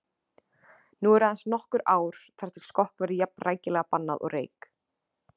Nú eru aðeins nokkur ár þar til skokk verður jafn rækilega bannað og reyk